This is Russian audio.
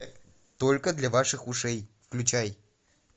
только для ваших ушей включай